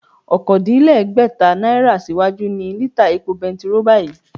Okòódínlẹ́gbẹ́ta náírà síwájú ni lítà epo bẹntiróò báyìí